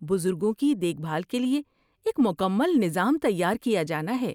بزرگوں کی دیکھ بھال کے لیے ایک مکمل نظام تیار کیا جانا ہے۔